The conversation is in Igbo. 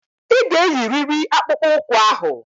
Ị ga-eyiriri akpụkpọ ụkwụ ahụ.